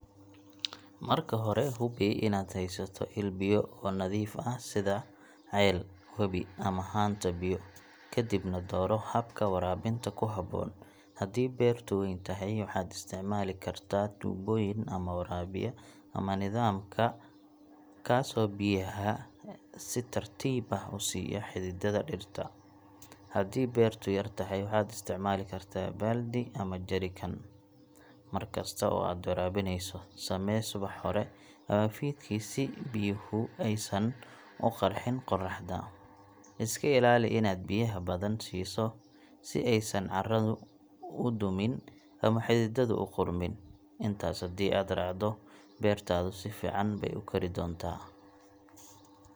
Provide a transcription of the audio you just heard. Marka hore, hubi inaad haysato il biyo oo nadiif ah sida ceel, webi ama haanta biyo. Kadibna, dooro habka waraabinta ku habboon: haddii beertu weyn tahay, waxaad isticmaali kartaa tuubooyin waraabiya ama nidaamka 'drip irrigation' kaasoo biyaha si tartiib ah u siiya xididdada dhirta. Haddii beertu yar tahay, waxaad isticmaali kartaa baaldi ama jerrycan. Mar kasta oo aad waraabinayso, samee subax hore ama fiidkii si biyuhu aysan u qarxin qorraxda. Iska ilaali inaad biyaha badan siiso si aysan carradu u dumin ama xididdadu u qudhmin. Intaas haddii aad raacdo, beertaadu si fiican bay u kori doontaa.